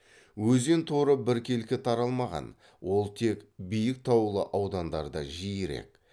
өзен торы біркелкі таралмаған ол тек биік таулы аудандарда жиірек